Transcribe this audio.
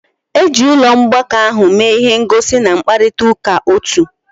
Eji ụlọ ọgbakọ ahụ mee ihe ngosi na mkparịta ụka otu.